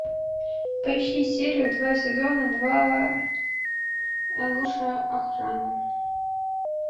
поищи серию два сезона два лучшая охрана